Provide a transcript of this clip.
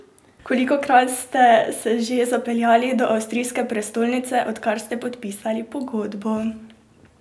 Kolikokrat ste se že zapeljali do avstrijske prestolnice, odkar ste podpisali pogodbo?